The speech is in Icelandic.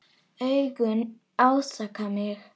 Augun ásaka mig.